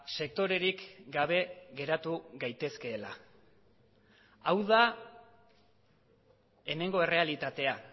sektorerik gabe geratu gaitezkeela hau da hemengo errealitatea